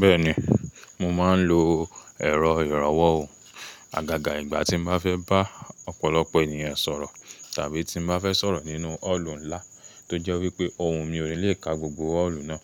Bẹ́ẹ̀ni, mo máa ń lo ẹ̀rọ ìrànwọ́ o. Àgàgà ìgbà tí mo bá fẹ́ bá ọ̀pọ̀lọpọ̀ ènìyàn sọ̀rọ̀ tàbí tí mo bá fẹ́ sọ̀rọ̀ nínú ọ́ọ̀lù ńlá tó jẹ́ wípé ohùn mi ò ní le ka gbogbo ọ́ọ̀lù náà,